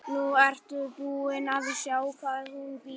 Nú ertu búin að sjá hvar hún býr.